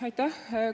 Aitäh!